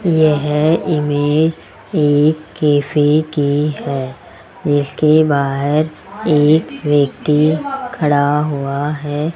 यह इमेज एक कैफे की है जिसके बाहर एक व्यक्ति खड़ा हुआ है।